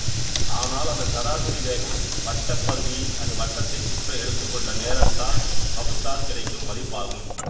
ஆனால் அதன் சராசரி வேகம் வட்டப் பரிதியை அது வட்டத்தைச் சுற்ற எடுத்துக்கொண்ட நேரத்தால் வகுத்தால் கிடைக்கும் மதிப்பாகும்